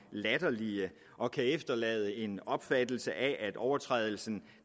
latterlige og kan efterlade en opfattelse af at overtrædelsen